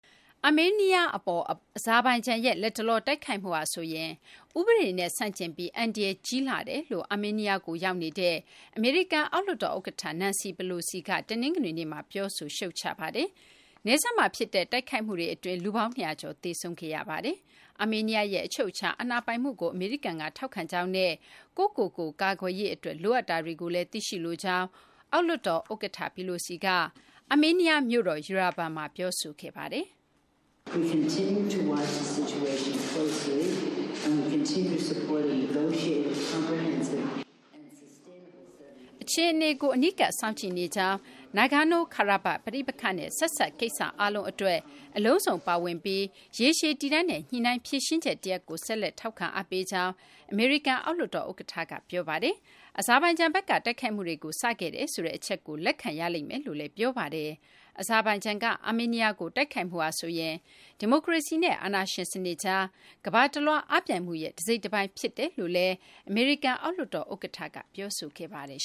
အာမေးနီးယား အပေါ် အဇာဘိုင်ဂျန်ရဲ့ လတ်တလော တိုက်ခိုက်မှုဟာဆိုရင် ဥပဒေနဲ့ ဆန့်ကျင်ပြီး အန္တရာယ် ကြီးမားလှကြောင်း အာမေးနီးယားကို ရောက်ရှိနေတဲ့ အမေရိကန် အောက်လွှတ်တော် ဥက္ကဋ္ဌ Nancy Pelosi က တနင်္ဂနွေနေ့မှာ ပြောဆို ရှုတ်ချလိုက်ပါတယ်။ နယ်စပ်မှာ ဖြစ်တဲ့ တိုက်ခိုက်မှုတွေ အတွင်း လူပေါင်း ၂၀၀ ကျော် သေဆုံးခဲ့ရပါတယ်။ အာမေးနီးယားရဲ့ အချုပ်အခြာ အာဏာပိုင်မှုကို အမေရိကန်က ထောက်ခံကြောင်းနဲ့ ကိုယ့်ကိုယ်ကိုယ် ကာကွယ်ရေး အတွက် လိုအပ်တာတွေကိုလည်း သိရှိလိုကြောင်း အောက်လွှတ်တော် ဥက္ကဋ္ဌ Pelosi က အာမေးနီးယား မြို့တော် Yerevan မှာ ပြောဆိုခဲ့ပါတယ်။ အခြေအနေကို အနီးကပ် စောင့်ကြည့်နေကြောင်း၊ Nagorno-Karabakh ပဋိပက္ခနဲ့ ဆက်စပ် ကိစ္စအားလုံး အတွက် အလုံးစုံပါဝင်ပြီး ရေရှည်တည်တံ့တဲ့ ညှိနှိုင်း ဖြေရှင်းချက်တရပ်ကို ဆက်လက် ထောက်ခံ အားပေးကြောင်း အမေရိကန် အောက်လွှတ်တော် ဥက္ကဋ္ဌ က ပြောပါတယ်။ အဇာဘိုင်ဂျန်ဘက်က တိုက်ခိုက်မှုတွေကို စခဲ့တယ်ဆိုတဲ့ အချက်ကို လက်ခံရလိမ့်မယ်လို့လည်း ပြောပါတယ်။ အဇာဘိုင်ဂျန်က အာမေးနီးယားကို တိုက်ခိုက်မှုဟာဆိုရင် ဒီမိုကရေစီနဲ့ အာဏာရှင်စနစ်ကြား ကမ ္ဘာတလွှား အားပြိုင်မှုရဲ့ တစိတ်တပိုင်း ဖြစ်တယ်လို့လည်း အမေရိကန် အောက်လွှတ်တော် ဥက္ကဋ္ဌ Pelosi က ပြောဆိုခဲ့ပါတယ်